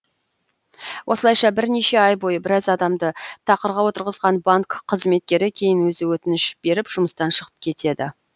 осылайша бірнеше ай бойы біраз адамды тақырға отырғызған банк қызметкері кейін өзі өтініш беріп жұмыстан шығып кетеді